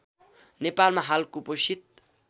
नेपालमा हाल कुपोषित